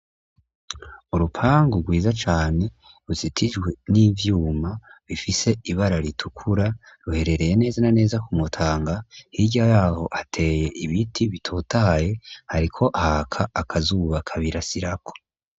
Urupangu rwiza cane rusitijwe n'ivyuma bifise ibara ritukura ruherereye neza na neza ku mutanga h'irya yaho hateye ibiti bitotaye hariko haka akazubaka birasirako.